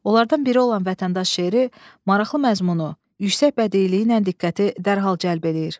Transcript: Onlardan biri olan vətəndaş şeiri maraqlı məzmunu, yüksək bədiliyi ilə diqqəti dərhal cəlb eləyir.